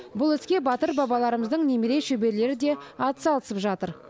бұл іске батыр бабаларымыздың немере шөберелері де атсалысып жатыр